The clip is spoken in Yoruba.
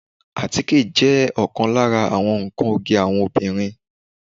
Àtíkè jẹ́ ọ̀kan lára àwọn nnkan oge àwọn obìnrin